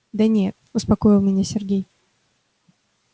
да нет успокоил меня сергей